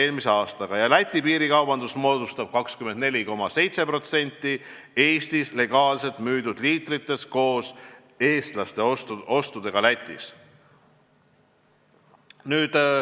Läti piiril toimuv piirikaubandus moodustab 24,7% Eestis legaalselt müüdud liitritest, seda koos eestlaste ostudega Lätis.